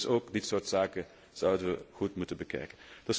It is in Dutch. Dus ook dit soort zaken zouden wij goed moeten bekijken.